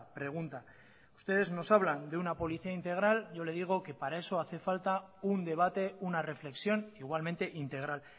pregunta ustedes nos hablan de una policía integral yo le digo que para eso hace falta un debate una reflexión igualmente integral